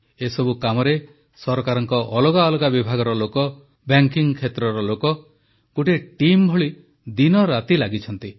ଏସବୁ କାମରେ ସରକାରଙ୍କ ଅଲଗା ଅଲଗା ବିଭାଗର ଲୋକ ବ୍ୟାଙ୍କିଙ୍ଗ କ୍ଷେତ୍ରର ଲୋକ ଗୋଟିଏ ଟିମ୍ ଭଳି ଦିନରାତି ଲାଗିଛନ୍ତି